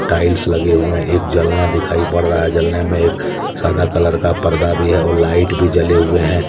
Tiles लगे हुए एक जलना दिखाई पड़ रहा है जलने में एक सादा कलर का पर्दा भी है और लाइट भी जले हुए हैं।